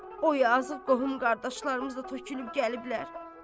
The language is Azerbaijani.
O yazığı qohum qardaşlarımız da tökülüb gəliblər.